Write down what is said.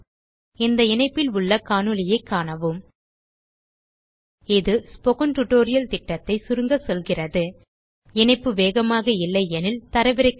இந்த இணைப்பில் உள்ள காணொளியைக் காணவும் இது ஸ்போக்கன் டியூட்டோரியல் திட்டத்தை சுருக்க சொல்கிறது இணைய இணைப்பு வேகமாக இல்லையெனில் தரவிறக்கி காணவும்